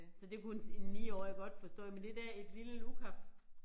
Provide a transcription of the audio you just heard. Så det kunne en en 9 årig godt forstå men det der et lille lukaf